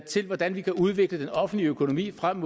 til hvordan vi kan udvikle den offentlige økonomi frem